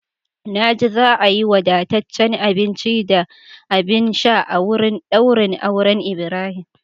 Na ji za a yi wadataccen abinci da abin sha a wurin daurin auren Ibrahim.